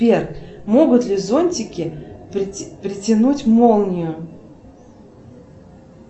сбер могут ли зонтики притянуть молнию